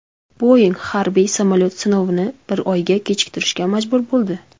Boeing harbiy samolyot sinovini bir oyga kechiktirishga majbur bo‘ldi.